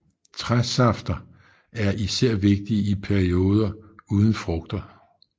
Træsafter er især vigtige i pedioder uden frugter